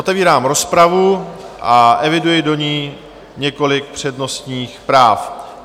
Otevírám rozpravu a eviduji do ní několik přednostních práv.